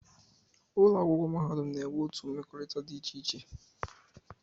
Ụlọakwụkwọ mahadum na-enwe otu mmekọrịta dị iche iche